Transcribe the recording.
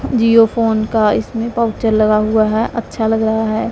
Jio phone का इसमें pouch लगा हुआ है अच्छा लग रहा है।